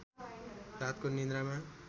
रातको निद्रामा